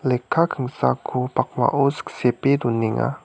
lekka kingsako pakmao siksepe donenga.